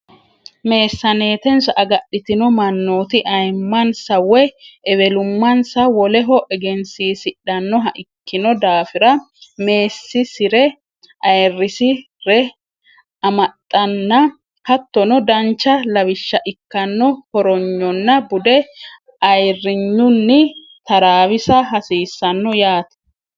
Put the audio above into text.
Meessaneetensa agadhitino mannooti ayimmansa woy ewelummansa woleho egensiisidhannoha ikkino daafira meessiisi re ayirrisi re amaxxanna hattono dancha lawishsha ikkanno hornyonna bude ayirrinyunni taraawisa hasiissanno yaate.